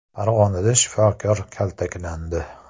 Farg‘onada shifokor kaltaklandi.